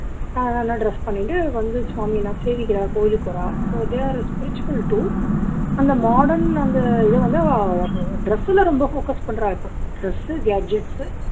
ஆஹ் நல்லா dress பண்ணிட்டு வந்து சுவாமிலாம் சேவிக்கிறா கோவிலுக்கு வரா so they are spiritual too அந்த modern அந்த இதை வந்து dress ல ரொம்ப focus பண்றா இப்போ dress சு they are just